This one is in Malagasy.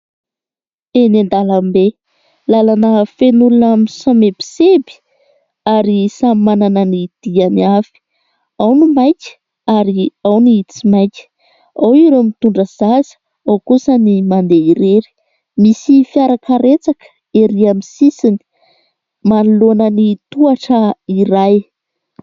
Eny andalambe, lalana feno olona misomebiseby ary samy manana ny diany avy, ao ny maika ary ao ny tsy maika, ao ireo mitondra zaza, ao kosa ny mandeha irery, misy fiarakaretsaka ery aminy sisiny manoloana ny tohatra iray.